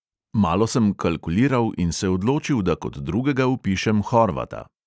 Malo sem kalkuliral in se odločil, da kot drugega vpišem horvata.